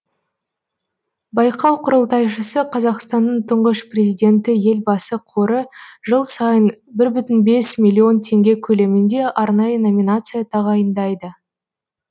байқау құрылтайшысы қазақстанның тұңғыш президенті елбасы қоры жыл сайын бір бүтін бес миллион теңге көлемінде арнайы номинация тағайындайды